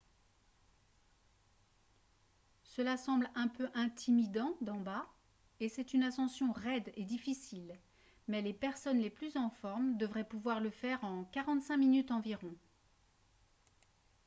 cela semble un peu intimidant d'en bas et c'est une ascension raide et difficile mais les personnes les plus en forme devraient pouvoir le faire en 45 minutes environ